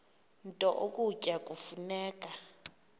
nto ukutya kufuneka